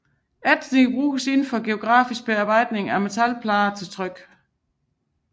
Ætsning bruges inden for grafik til bearbejdning af metalplader til tryk